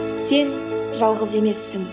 сен жалғыз емессің